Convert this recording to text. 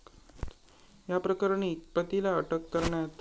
याप्रकरणी पतीला अटक करण्यात.